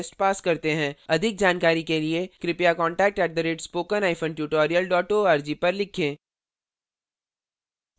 अधिक जानकारी के लिए कृपया contact at spoken hyphen tutorial dot org पर लिखें